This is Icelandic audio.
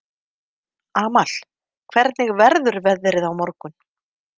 Amal, hvernig verður veðrið á morgun?